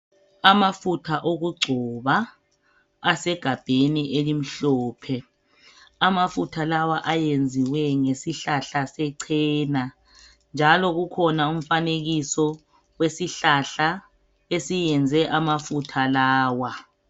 Amafutha wokugcoba asegabheni elimhlophe. Amafutha lawa ayenziwe ngesihlahla sechena njalo kukhona umfanekiso wesihlahla esiyenze amafutha lawa.